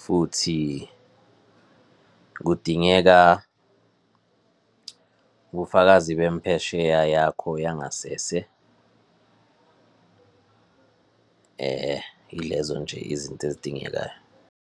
futhi kudingeka ubufakazi bemphesheya yakho yangasese. Ilezo nje izinto ezidingekayo.